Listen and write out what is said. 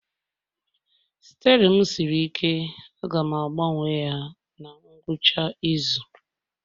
Steerin m siri ike ga-agbanwe ya na ngwụcha izu